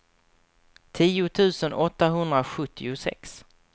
tio tusen åttahundrasjuttiosex